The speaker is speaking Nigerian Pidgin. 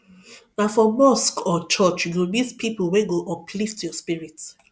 na for mosque or church you go meet people wey go uplift your spirit